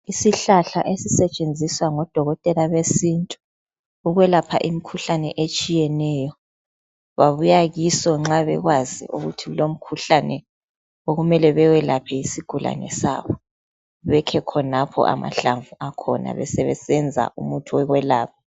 isihlahla esisetshenziswa ngodokotela besintu ukwelapha imkhuhlane etshiyeneyo babuya kiso nxa bekwazi ukuthi kulo mkhuhlane okumele bewelaphe yisigulane sawo bekhe khonapho amahlamvu akhona besebesenza umuthi wokwelapha